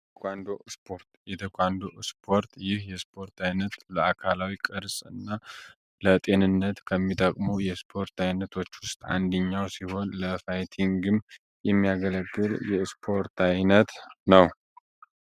የቴኳንዶ ስፖርት ቴኳንዶ ስፖርት ይህ የስፖርት አይነት ለአካላዊ ቅርጽ እና ለጤንነት ከሚጠቅመው የስፖርት አይነቶች ውስጥ አንደኛው ሲሆን ለፋይቲንግም የሚያገለግል የስፖርት ዓይነት ነው።